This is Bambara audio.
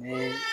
Ni